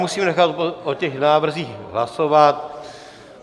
Musím nechat o těch návrzích hlasovat.